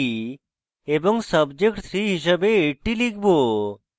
এবং subject 3 হিস়াবে 80 লিখব